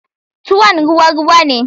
Tuwon ruwa ruwa ne.